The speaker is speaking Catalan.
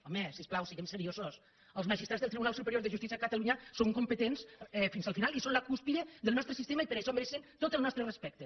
home si us plau siguem seriosos els magistrats del tribunal superior de justícia de catalunya són competents fins al final i són la cúspide del nostre sistema i per això mereixen tot el nostre respecte